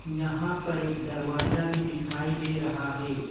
यहां पर एक दरवाजा भी दिखाई दे रहा है ।